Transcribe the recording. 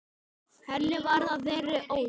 Henni varð að þeirri ósk.